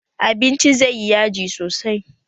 Abinci zai yi yaji sosai